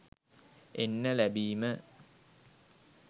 එන්න ලැබීම